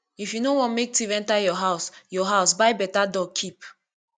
if you no want make thief enter your house your house buy beta dog keep